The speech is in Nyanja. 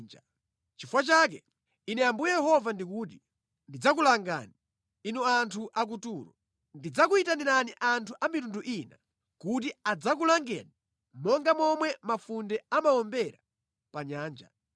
Nʼchifukwa chake, Ine Ambuye Yehova ndikuti: Ndidzakulangani, inu anthu a ku Turo. Ndidzakuyitanirani anthu a mitundu ina kuti adzakulangeni monga momwe mafunde amawombera pa Nyanja.